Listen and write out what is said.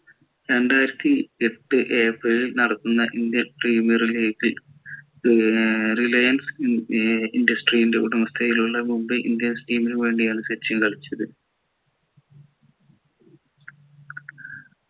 രണ്ടായിരത്തിയെട്ട് April നടത്തുന്ന indian premier league ൽ ഏർ reliance ഏർ industry ൻ്റെ ഉടമസ്ഥതയിൽ ഉള്ള മുബൈ ഇന്ത്യൻസ് team നു വേണ്ടി ആണ് സച്ചിൻ കളിച്ചത്